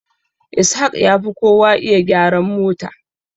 Ishaq yafi kowa iya gyaran mota.